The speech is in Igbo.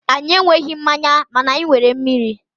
anyị enweghị mmanya mana anyị nwere mmiri.